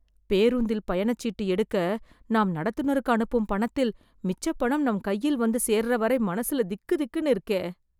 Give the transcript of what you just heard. பேருந்தில் பயணச்சீட்டு எடுக்க, நாம் நடத்துனருக்கு அனுப்பும் பணத்தில், மிச்சப் பணம் நம் கையில வந்து சேர்றவரை, மனசுல திக்திக்னு இருக்கே...